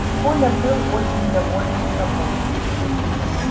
и коля был очень доволен собой